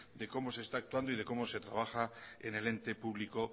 de cómo se está actuando y cómo se trabaja en el ente público